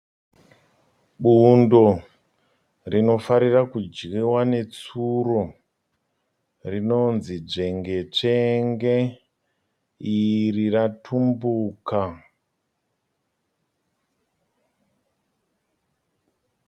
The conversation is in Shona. Bundo rinofarira kudyiwa netsuro rinonzii dzvengetsvenge iri ratumbuka.